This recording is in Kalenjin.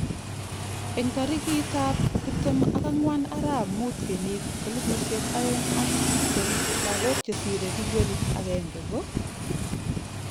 Eng tarikitab tiptem ak angwan ARAP mut kenyit elipusiek oeng ak tiptem, lagok che sirei bilionit agenge ko